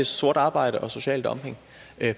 sort arbejde og social dumping